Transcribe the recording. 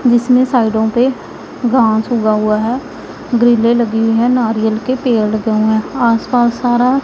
जिसमें साइडों पे गांव चुगा हुआ हैं ग्रीले लगी हुईं हैं नारियल के पेड़ आस पास सारा--